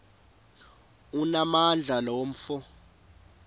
onamandla lo mfo